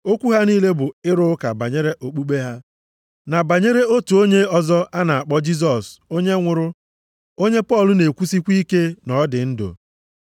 Okwu ha niile bụ ịrụ ụka banyere okpukpe ha, na banyere otu onye ọzọ a na-akpọ Jisọs onye nwụrụ, onye Pọl na-ekwusịkwa ike na ọ dị ndụ.